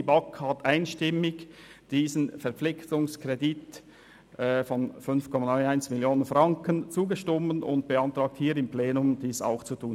Die BaK hat diesem Verpflichtungskredit von 5,91 Mio. Franken einstimmig zugestimmt und beantragt dem Plenum, dies auch zu tun.